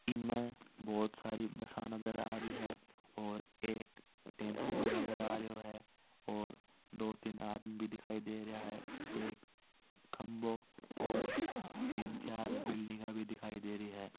इसमें बहुत सारी बसा नजर आ रही है और एक टेम्पू बी नज़र आरियो है और दो तिन आदमी भी दिखाई देरिया है एक खभो और तिन चार बिल्डिंगा भी दिखायड़ेरी हैं।